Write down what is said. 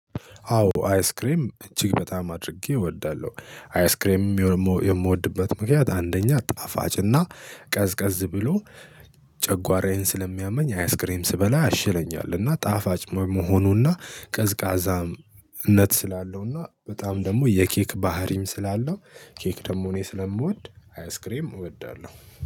አዎ አይስክሬም እጅግ በጣም አድርጌ እወዳለሁ። አይስክሬም የምወድበት ምክንያት አንደኛ ጣፋጭ እና ቀዝቀዝ ብሎ ጨጓራዬን ስለሚያመኝ አያስክሬም ስበላ ያሽለኛል። እና ጣፋጭ መሆኑና ቀዝቃዛም ነት ስላለውና በጣም ደግሞ የኬክ ባህሪም ስላለው ኬክ ደግሞ እኔ ስለምወድ አይስክሬም እወዳለሁ